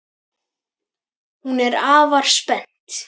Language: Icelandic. Hún er afar spennt.